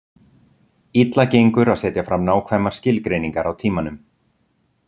Illa gengur að setja fram nákvæmar skilgreiningar á tímanum.